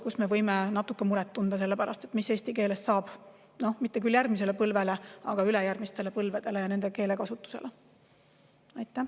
Siis me võime natuke muret tunda selle pärast, mis eesti keelest saab, mitte küll järgmise põlve, aga ülejärgmise põlve keelekasutuse puhul.